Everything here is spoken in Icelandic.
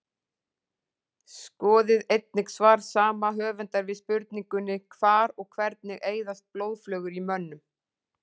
Skoðið einnig svar saman höfundar við spurningunni Hvar og hvernig eyðast blóðflögur í mönnum?